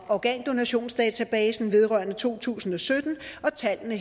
organdonationsdatabasen vedrørende to tusind og sytten og tallene